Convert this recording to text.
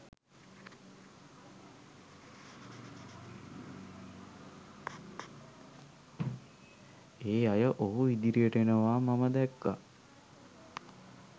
ඒ අය ඔහු ඉදිරියට එනවා මම දැක්කා